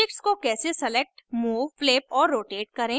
objects को कैसे select move flip और rotate करें